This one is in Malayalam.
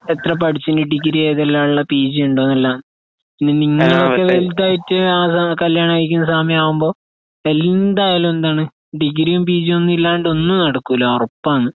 എത്രപഠിച്ചുയെങ്കി ഡിഗ്രിഏതെല്ലാള്ളെ പീജിയുണ്ടോന്നെല്ലാം. ഇനിനിങ്ങളൊക്കെവലുതായിട്ട് അതാണ് കല്യാണംകഴിക്കുന്നസമയാകുമ്പൊ എന്തായാലുംയെന്താണ് ഡിഗ്രിയുംപീജിയൊന്നുയില്ലാണ്ട് ഒന്നുംനടക്കൂല്ല ഉറപ്പാണ്.